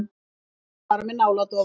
Þú ert bara með náladofa.